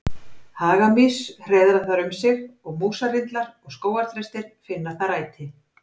Hagamýs hreiðra þar um sig og músarrindlar og skógarþrestir finna þar æti.